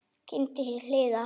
Geymið til hliðar.